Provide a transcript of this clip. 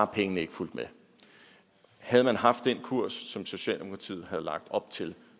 pengene ikke fulgt med havde man haft den kurs som socialdemokratiet lagde op til